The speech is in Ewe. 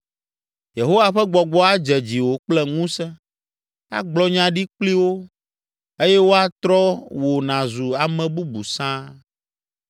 Yehowa ƒe gbɔgbɔ adze dziwò kple ŋusẽ, àgblɔ nya ɖi kpli wo, eye woatrɔ wò nàzu ame bubu sãa.